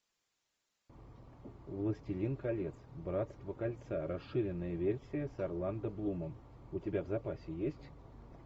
властелин колец братство кольца расширенная версия с орландо блумом у тебя в запасе есть